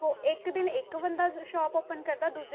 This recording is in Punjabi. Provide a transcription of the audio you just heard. ਇੱਕ ਦਿਨ ਇੱਕ ਬੰਦਾ shop open ਕਰਦਾ, ਦੂਜੇ